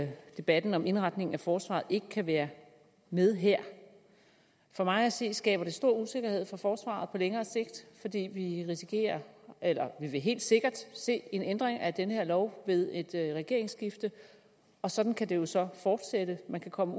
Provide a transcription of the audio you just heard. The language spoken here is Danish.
debatten om indretning af forsvaret ikke kan være med her for mig at se skaber det stor usikkerhed for forsvaret på længere sigt fordi vi risikerer eller vi vil helt sikkert se en ændring af den her lov ved et regeringsskifte og sådan kan det jo så fortsætte man kan komme